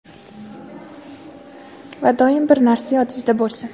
Va doim bir narsa yodizda bo‘lsin.